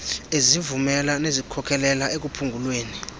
ezivumela nezikhokelela ekuphungulweni